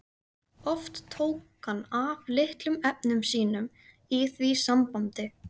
Oft tók hann af litlum efnum sínum í því sambandi.